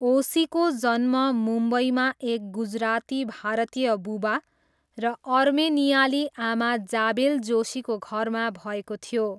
ओशीको जन्म मुम्बईमा एक गुजराती भारतीय बुबा र अर्मेनियाली आमा जाबेल जोशीको घरमा भएको थियो।